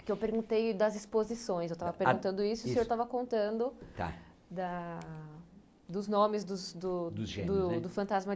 Que eu perguntei das exposições, eu estava perguntando isso e o senhor estava contando da dos nomes dos do dos gêmeos, né? do Fantasma